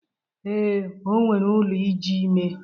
Ee, o nwere ụlọ iji ime.